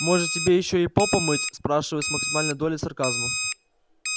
может тебе ещё и пол помыть спрашиваю с максимальной долей сарказма